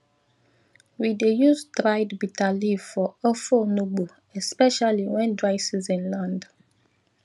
we dey use dried bitterleaf for ofe onugbu especially when dry season land